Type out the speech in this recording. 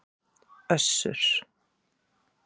Össur